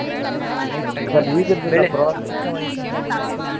ಆಹ್ night time ಬೇರೆ.